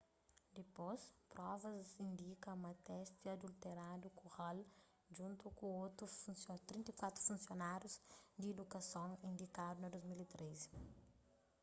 dipôs provas indika ma testi adulteradu ku hall djuntu ku otu 34 funsionárius di idukason indikadu na 2013